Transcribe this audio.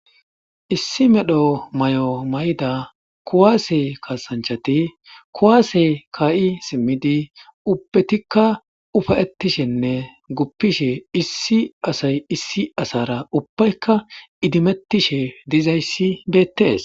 issi medho may7o may7da kuwaase kasanchati kuwaase kaa7i simmidi ubbetikka ufayettishenne guppishe issi asay issi asara ubbaykka idimettishe dizayssi beettees